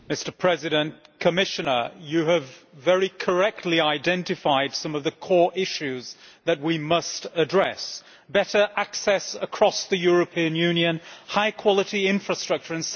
Mr President, the Commissioner has very correctly identified some of the core issues that we must address better access across the European Union and high-quality infrastructure.